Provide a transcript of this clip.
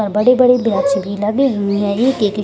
और बड़े-बड़े बैच भी लगे हुए हैं एक-एक --